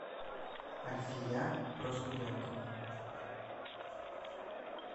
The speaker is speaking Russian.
альфия проскурякова